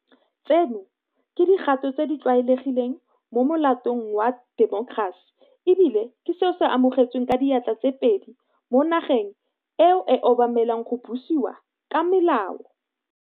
Tseno ke dikgato tse di tlwaelegileng mo molaotheong wa temokerasi e bile ke seo se amogetsweng ka diatla tsoopedi mo nageng eo e obamelang go busiwa ka molao.